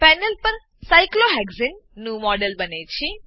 panel પર સાયક્લોહેક્સાને cyclohexane નું મોડેલ બને છે